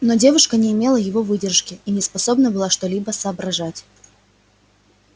но девушка не имела его выдержки и не способна была что-либо соображать